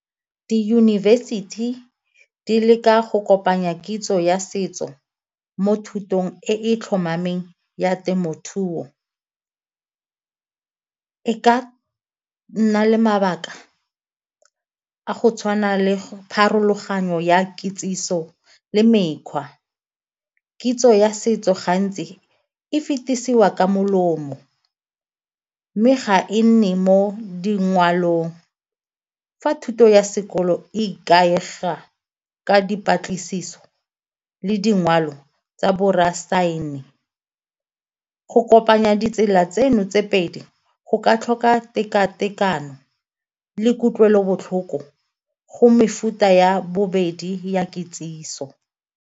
Di-university di leka go kopanya kitso ya setso mo thutong e e tlhomameng ya temothuo. E ka nna le mabaka go tshwana le pharologanyo ya kitsiso le mekgwa, kitso ya setso gantsi e fetisiwa ka molomo mme ga e nne mo dingwalong. Fa thuto ya sekolo e ikaega ka dipatlisiso le dingwalo tsa go kopanya tsela tseno tse pedi go ka tlhola teka-tekano le kutlwelobotlhoko go mefuta ya bobedi ya kitsiso.